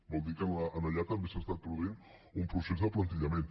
vol dir que allà també s’ha estat produint un procés d’aplantillament